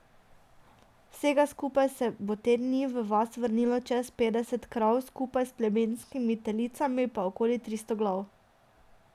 Vsega skupaj se bo te dni v vas vrnilo čez petdeset krav, skupaj s plemenskimi telicami pa okoli tristo glav.